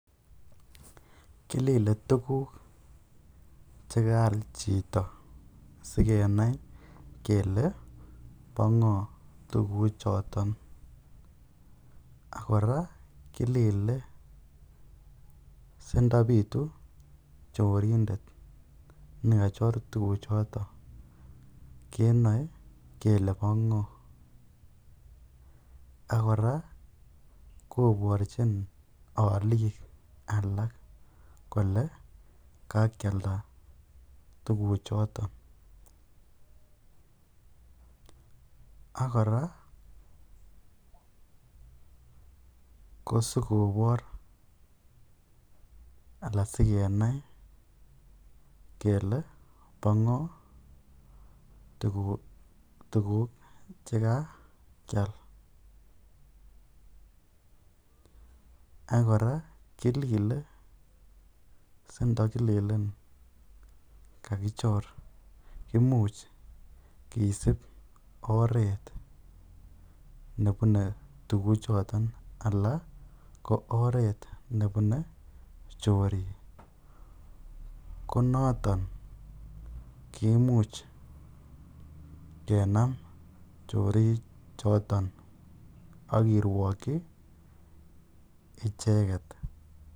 Kilile tukuk chekaal chito sikenai kelee bo ngoo tukuchoton ak kora kilile sindobitu chorindet nekachor tukuchoton kenoe kelee bo ngoo, ak kora koborchin olik alak kolee kakialda tukuchoton, ak kora kosikobor alaa asikenai kelee bo ngoo tukuk chekakial ak kora kilile sindikilelen kakichor imuch kisib oreet nebune tukuchoton alaa ko oereet nebune chorik konoton kimuch kenam chori choton ak kirwokyi icheket.